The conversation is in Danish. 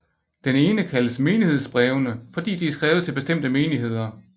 Den ene kaldes menighedsbrevene fordi de er skrevet til bestemte menigheder